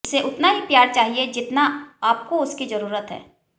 उसे उतना ही प्यार चाहिए जितना आपको उसकी जरूरत है